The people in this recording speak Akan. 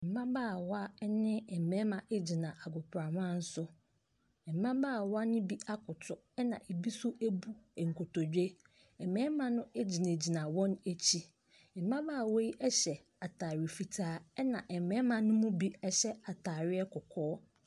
Mmabaawa ne mmarima gyina agoprama so, mmabaawa ne bi akoto na bi nso abu nkotodwe. Mmarima no gyinagyina wɔn akyi. Mmabaawa yi hyɛ ataare fitaa na mmarima ne mu bi hyɛ ataadeɛ kɔkɔɔ.